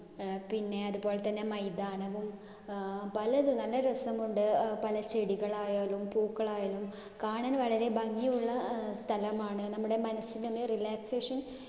ഏർ പിന്നെ അതുപോലെതന്നെ മൈതാനവും അഹ് പലതും നല്ല രസമുണ്ട്. അഹ് പല ചെടികളായാലും പൂക്കളായാലും കാണാൻ വളരെ ഭംഗിയുള്ള ഏർ സ്ഥലമാണ്. നമ്മുടെ മനസ്സിനൊന്ന് relaxation